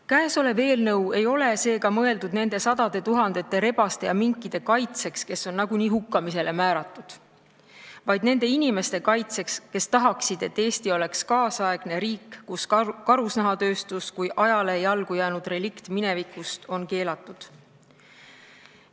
Käesolev eelnõu ei ole seega mõeldud nende sadade tuhandete rebaste ja minkide kaitseks, kes on nagunii hukkamisele määratud, vaid nende inimeste kaitseks, kes tahaksid, et Eesti oleks nüüdisaegne riik, kus karusnahatööstus kui ajale jalgu jäänud relikt oleks keelatud.